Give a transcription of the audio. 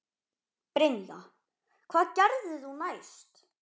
Brynja: Hvað gerðir þú næst?